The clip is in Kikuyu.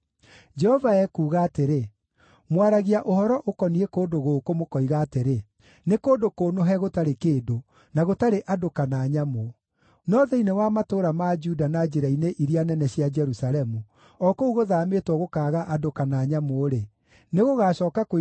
“Jehova ekuuga atĩrĩ: ‘Mwaragia ũhoro ũkoniĩ kũndũ gũkũ, mũkoiga atĩrĩ, “Nĩ kũndũ kũnũhe gũtarĩ kĩndũ, na gũtarĩ andũ kana nyamũ.” No thĩinĩ wa matũũra ma Juda na njĩra-inĩ iria nene cia Jerusalemu, o kũu gũthaamĩtwo gũkaaga andũ kana nyamũ-rĩ, nĩgũgacooka kũiguuo